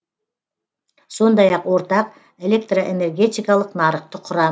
сондай ақ ортақ электроэнергетикалық нарықты құра